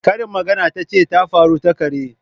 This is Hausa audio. Karin magana tace tafaru takare.